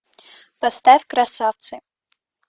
поставь красавцы